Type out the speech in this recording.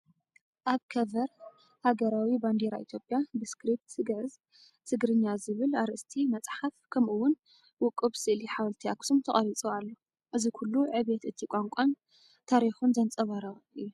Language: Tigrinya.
ኣብ ከቨር ሃገራዊ ባንዴራ ኢትዮጵያ፡ ብስክሪፕት ግዕዝ "ትግርኛ" ዝብል ኣርእስቲ፡ መፅሓፍ ከምኡ'ውን ውቁብ ስእሊ ሓወልቲ ኣክሱም ተቐሪጹ ኣሎ። እዚ ኩሉ ዕብየት እቲ ቋንቋን ታሪኹን ዘንጸባርቕ እዩ።